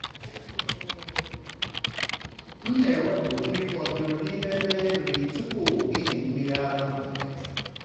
m na-ewepụ nri fọdụrụ n’ime ebe nri tupu ịmị mmiri ara mgbede.